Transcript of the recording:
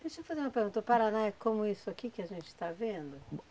Deixa eu fazer uma pergunta, o Paraná é como isso aqui que a gente está vendo?